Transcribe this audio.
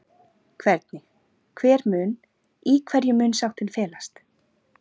Hvernig, hver mun, í hverju mun sáttin felast?